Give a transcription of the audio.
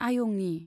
आयंनि